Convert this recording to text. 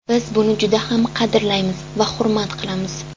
Biz buni juda ham qadrlaymiz va hurmat qilamiz.